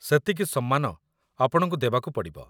ସେତିକି ସମ୍ମାନ ଆପଣଙ୍କୁ ଦେବାକୁ ପଡ଼ିବ।